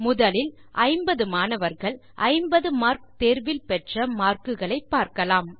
முதலில் 50 மாணவர்கள் 50 மார்க் தேர்வில் பெற்ற மார்க்குகளை பார்க்கலாம்